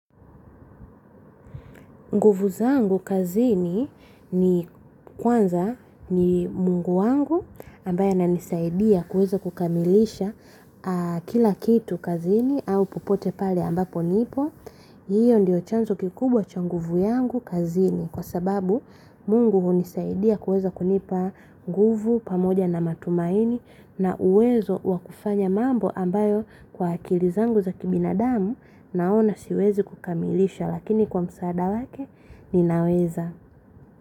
Nguvu zangu kazini ni kwanza ni mungu wangu ambaye ananisaidia kuweza kukamilisha kila kitu kazini au popote pale ambapo nipo. Hiyo ndio chanzo kikubwa cha nguvu yangu kazini kwa sababu mungu hunisaidia kuweza kunipa nguvu pamoja na matumaini, na uwezo wa kufanya mambo ambayo, kwa akili zangu za kibinadamu naona siwezi kukamilisha. Lakini kwa msaada wake ninaweza.